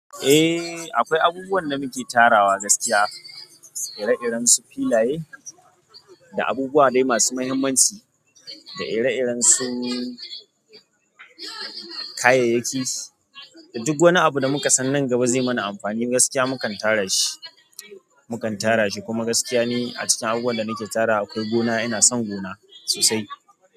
Eh akwai abubuwan da muke tarawa gaskiya, ire iren su filaye, da abubuwa dai masu mahimmanci, da ire iren su kayayyaki, da duk wani abu da muka san nan gaba zai mana amfani gaskiya mukan tara shi, mukan tara shi. Kuma gaskiya ni a cikin abubuwan da nike tarawa akwai gona ina son gona sosai.